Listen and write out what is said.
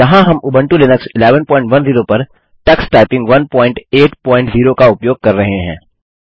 यहाँ हम Ubuntu Linux 1110 पर टक्स टाइपिंग 180 का उपयोग कर रहे हैं